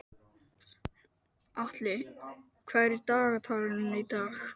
Atli, hvað er í dagatalinu í dag?